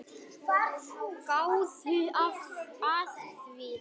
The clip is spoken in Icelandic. Gáðu að því.